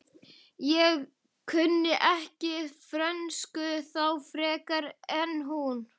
Ég kunni ekki frönsku þá frekar en nú.